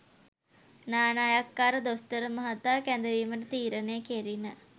නානායක්කාර දොස්තර මහතා කැදවීමට තීරණය කෙරිණ